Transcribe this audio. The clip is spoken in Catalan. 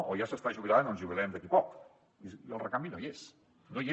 o ja s’està jubilant o ens jubilarem d’aquí poc i el recanvi no hi és no hi és